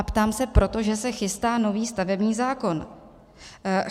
A ptám se proto, že se chystá nový stavební zákon.